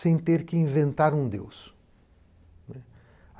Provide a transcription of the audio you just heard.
sem ter que inventar um Deus, né.